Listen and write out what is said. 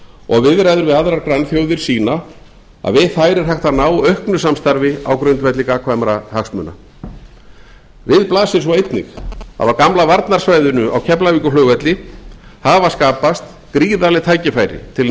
og viðræður við aðrar grannþjóðir sýna að við þær er hægt að ná auknu samstarfi á grundvelli gagnkvæmra hagsmuna við blasir svo einnig að á gamla varnarsvæðinu á keflavíkurflugvelli hafa skapast gríðarleg tækifæri til